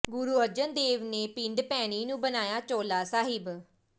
ਗੁਰੂ ਅਰਜਨ ਦੇਵ ਨੇ ਪਿੰਡ ਭੈਣੀ ਨੂੰ ਬਣਾਇਆ ਚੋਹਲਾ ਸਾਹਿਬ